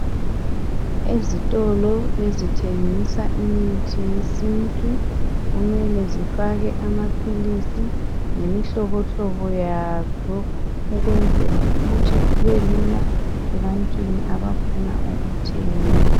Ezitolo ezithengisa imithi yesintu kumele zifake amaphilisi ngemihlobohlobo yayo ukwenzela ukuthi kubelula ebantwini abafuna ukuthenga.